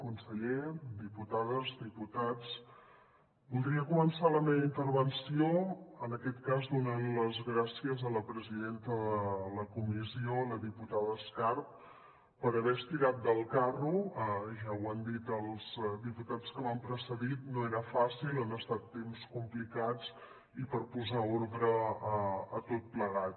conseller diputades diputats voldria començar la meva intervenció en aquest cas donant les gràcies a la presidenta de la comissió la diputada escarp per haver estirat del carro ja ho han dit els diputats que m’han precedit no era fàcil han estat temps complicats i per posar ordre a tot plegat